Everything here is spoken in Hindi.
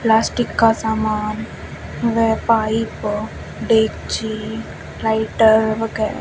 प्लास्टिक का सामान व पाईप डेक्ची लाइटर वगैरह--